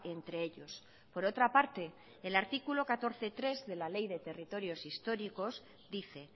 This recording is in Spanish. entre ellos por otra parte el artículo catorce punto tres de la ley de territorios históricos dice